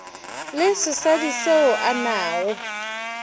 le sesadi seo a nago